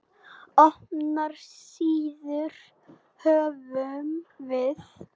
Opnar síður höfum við.